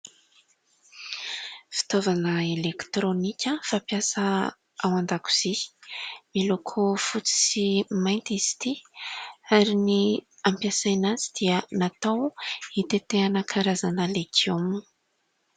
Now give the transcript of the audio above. Fitaovana elektronika fampiasa ao an-dakozia. Miloko fotsy sy mainty izy ity ary ny hampiasàna azy dia natao hitetehana karazana legioma.